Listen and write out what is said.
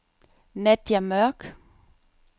Nadja Mørk